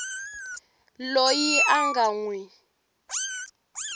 loyi a nga n wi